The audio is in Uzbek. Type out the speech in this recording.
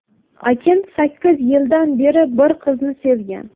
Akin sakkiz yildan beri bir qizni sevgan.